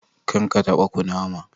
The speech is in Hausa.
Karka taba kunama.